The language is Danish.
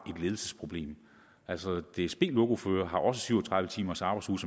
ledelsesproblem altså dsb lokoførere har også en syv og tredive timers arbejdsuge